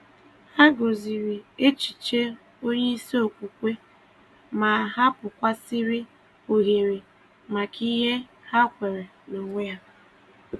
Hà gọ̀zìrì echiche onye isi okwukwe, ma hapụ̀kwasị̀rị́ ohere maka ihe ha kweere n’onwe ha.